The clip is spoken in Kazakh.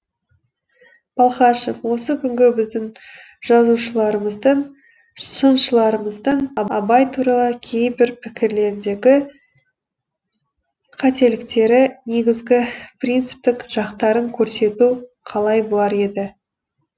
балхашев осы күнгі біздің жазушыларымыздың сыншыларымыздың абай туралы кейбір пікірлеріндегі қателіктері негізгі принциптік жақтарын көрсету қалай болар еді